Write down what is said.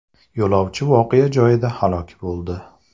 Yo‘lovchi voqea joyida halok bo‘ldi.